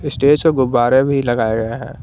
Stage पे गुब्बारे भी लगाए है।